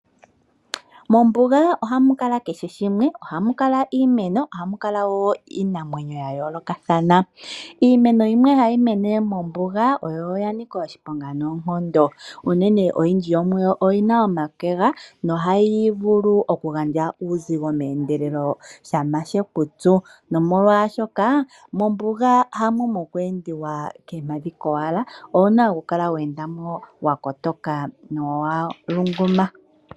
Mombuga ohamukala kehe shimwe ohamukala iimeno ohamukala woo iinamwenyo yayoolokathana. Iimeno yimwe hayimene mombuga oyo oyanika oshiponga noonkondo unene oyindji yomuyo oyina omakwega nohayivulu okugandja uuzigo meendelelo shampa shekutsu, nomolwaashoka mombuga hamo mokweendiwa koompadhi kowala owuna okukala weendamo wakotoka nowalungama.